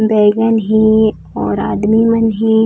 बैगन हे और आदमी मन हे।